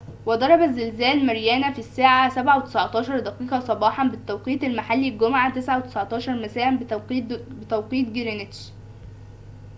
وضربَ الزلزال ماريانا في الساعة ٠٧:١٩ صباحاً بالتوقيت المحلي الجمعة ٠٩:١٩ مساءً بتوقيت جرينتش